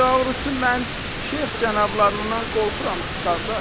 Doğrusu mən şeyx cənablarından qorxuram, qardaş.